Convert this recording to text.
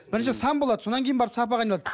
бірінші сан болады содан кейін барып сапаға айналады